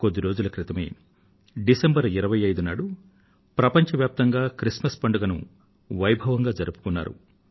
కొద్ది రోజుల క్రితమే డిసెంబరు 25 నాడు ప్రపంచవ్యాప్తంగా క్రిస్మస్ పండుగను వైభవంగా జరుపుకున్నారు